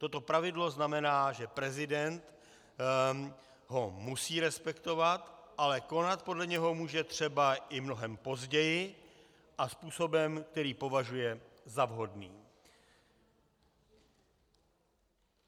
Toto pravidlo znamená, že prezident ho musí respektovat, ale konat podle něho může třeba i mnohem později a způsobem, který považuje za vhodný.